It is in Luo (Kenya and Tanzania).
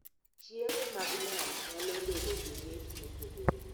Chiemo mag nam nyalo bedo gi mit mopogore